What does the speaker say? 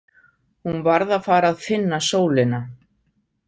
Hún varð að fara að finna sólina.